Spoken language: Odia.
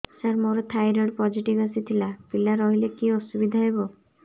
ସାର ମୋର ଥାଇରଏଡ଼ ପୋଜିଟିଭ ଆସିଥିଲା ପିଲା ରହିଲେ କି ଅସୁବିଧା ହେବ